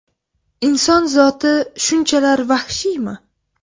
Inson zoti shunchalar vahshiymi?